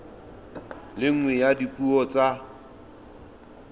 le nngwe ya dipuo tsa